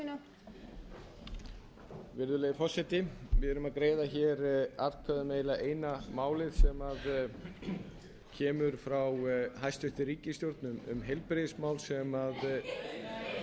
fimmti þingmaður reykjavíkurkjördæmis suður hér er verið að greiða atkvæði um tillögu forseta um kvöldfund sem gæti náð inn